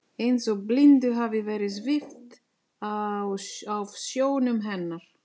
Eins og blindu hafi verið svipt af sjónum hennar.